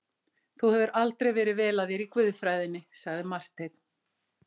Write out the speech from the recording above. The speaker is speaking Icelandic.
Þú hefur aldrei verið vel að þér í guðfræðinni, sagði Marteinn.